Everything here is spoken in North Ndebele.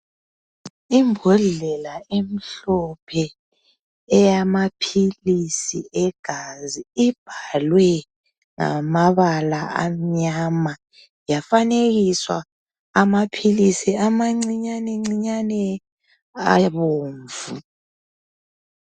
Imbodlela emhlophe eyamaphilisi egazi ibhalwe ngamabala amnyama, yafanekiswa amaphilisi amancinyane ncinyane abomvu.